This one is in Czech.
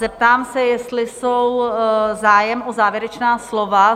Zeptám se, jestli je zájem o závěrečná slova?